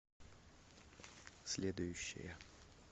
следующая